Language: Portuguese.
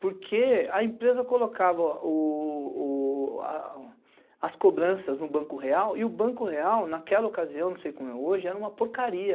Porque a empresa colocava as cobranças no Banco Real, e o Banco Real naquela ocasião, não sei como é hoje, era uma porcaria.